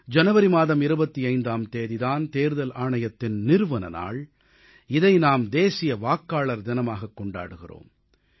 ஜனவரி மாதம் 25ஆம் தேதி தான் தேர்தல் ஆணையத்தின் நிறுவன நாள் இதை நாம் தேசிய வாக்காளர் தினமாகக் கொண்டாடுகிறோம்